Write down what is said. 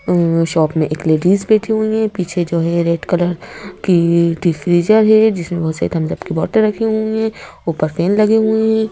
और ये शॉप मे एक लेडीस बैठी हुई है पीछे जो है ये रेड कलर की टी फ्रिज है ये जिसमें बहोत सारी थम्स अप की बॉटल रखी हुई है ऊपर फैन लगी हुई है।